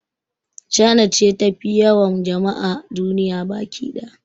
China ce tafi yawan jama'a a duniya baki ɗaya